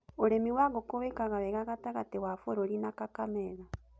ũrĩmi wa ngũkũ wĩkaga wega gatagatĩ wa bũrũri na Kakamega.